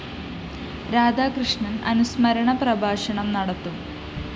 രാധാകൃഷ്ണന്‍ അനുസ്മരണ പ്രഭാഷണം നടത്തും